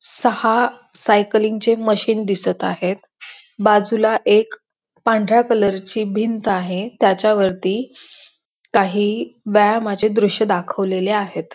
सहा सायकलिंग चे मशीन दिसत आहेत बाजूला एक पांढऱ्या कलर ची भिंत आहे त्याच्या वरती काही व्यायामाचे दृश दाखवलेले आहेत.